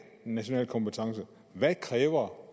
en national kompetence hvad kræver